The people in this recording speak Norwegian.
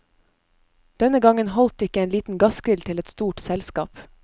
Denne gangen holdt ikke en liten gassgrill til et stort selskap.